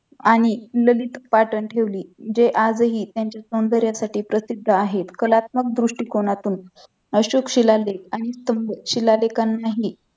आणि ललित पाटण ठेवली जे आजही त्यांच्या सौंदर्यसाठी प्रसिद्ध आहेत कलात्मक दृष्टीकोनातून अशोक शिलालेख आणि स्तंभ शिलालेखानाही